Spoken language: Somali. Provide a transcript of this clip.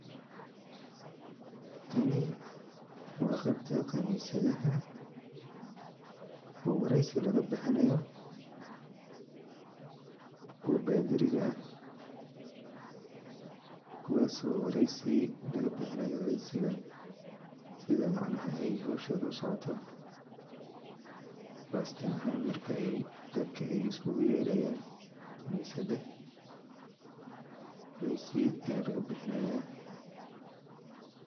Tani waa qebta qanisadaha oo wareysi laga bixinayo, luwo badiriga ah kuwaasi oo wareysi laga bixinayo, wareysiga sida macnaha ay howshod usocooto qasatan ahan markay dadka iskugu yeeayan qanisada wareysi aya laga bixinaya